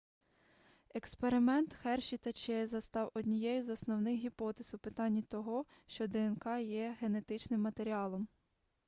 експеримент херші та чейза став однією з основних гіпотез у питанні того що днк є генетичним матеріалом